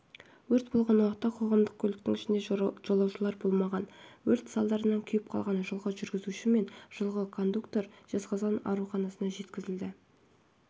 өрт болған уақытта қоғамдық көліктің ішінде жолаушылар болмаған өрт салдарынан күйіп қалған жылғы жүргізуші мен жылғы кондуктор жезқазған ауруханасына жеткізілді өрт